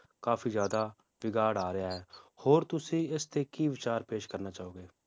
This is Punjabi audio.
ਕਾਫੀ ਜ਼ਿਆਦਾ ਬਿਗਾੜ ਆ ਰਿਹਾ ਹੈ ਹੋਰ ਤੁਸੀਂ ਇਸ ਤੇ ਕੀ ਵਿਚਾਰ ਪੇਸ਼ ਕਰਨਾ ਚਾਹੋਗੇ?